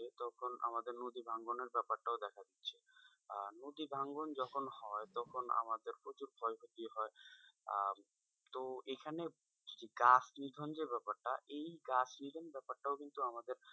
তখন আমাদের নদী ভাঙ্গনের ব্যাপারটাও দেখে যাচ্ছে আহ নদী ভাঙ্গন যখন হয় তখন আমাদের প্রচুর ক্ষয়ক্ষতি হয় আহ তো এখানে গাছ নিধন যে ব্যাপারটা এই গাছ নিধন ব্যাপারটাও কিন্তু আমাদের,